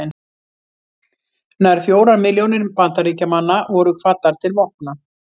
Nær fjórar milljónir Bandaríkjamanna voru kvaddar til vopna.